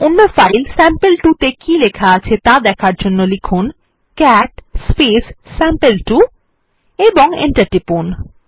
অন্য file sample two ত়ে কী লেখা আছে ত়া দেখার জন্য লিখুন ক্যাট স্যাম্পল2 এবং এন্টার টিপুন